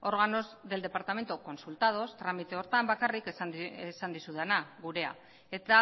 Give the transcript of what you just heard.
órganos del departamento consultados tramite horretan bakarrik esan dizudana gurea eta